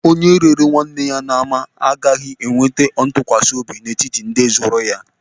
Onye rere nwanne ya n'ama agaghị enwe ntụkwasị obi n'etiti ndị zụrụ ya.